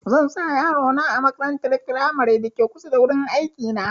Zan sa yaro na a makarantar firamaren da ke kusa da wurin aiki na